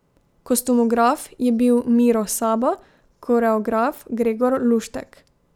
Kostumograf je bil Miro Sabo, koreograf Gregor Luštek.